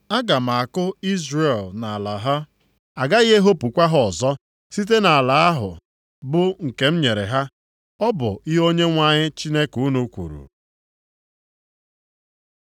Aga m akụ Izrel nʼala ha. + 9:15 Ya bụ, ime ka ha biri nʼala ha A gaghị ehopukwa ha ọzọ site nʼala ahụ bụ nke m nyere ha.” Ọ bụ ihe Onyenwe anyị Chineke unu kwuru.